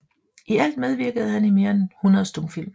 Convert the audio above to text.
I alt medvirkede han i mere end 100 stumfilm